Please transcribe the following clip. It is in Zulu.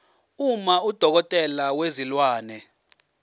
uma udokotela wezilwane